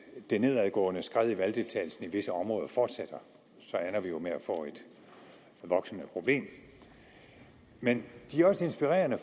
det nedadgående skred i valgdeltagelsen i visse områder fortsætter ender vi jo med at få et voksende problem men de er også inspirerende